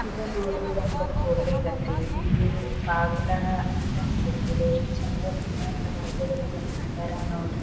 ಇದು ನೋಡ್ರಿ ಒಂದು ಕೋಟೆ ಗತೆ ಇಲ್ಲಿ ಬಾಗ್ಲಾ ಅಂತ ಅನ್ಸತ್ತೆ ಇದೆ ಎಷ್ಟು ಚಂದ ವಿನ್ಯಾಸ ವಾಗಿ ಇದನ್ನ ನೋಡ್ರಿ .